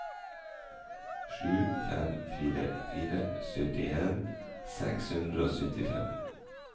sju fem fire fire syttien seks hundre og syttifem